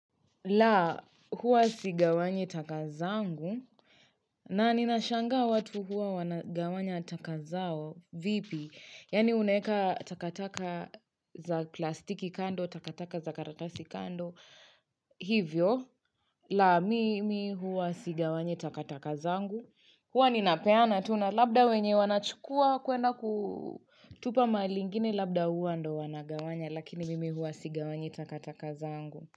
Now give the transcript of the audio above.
La, huwa sigawanyi taka zangu, na ninashanga watu huwa wanagawanya taka zao, vipi, yaani uneka takataka za plastiki kando, takataka za karatasi kando, hivyo, la mimi huwa sigawanyi takatakazangu, huwa ninapeana tuna, labda wenye wanachukua kuenda kutupa malingine, labda huwa ndo wanagawanya, lakini mimi huwa sigawanyi takatakazangu.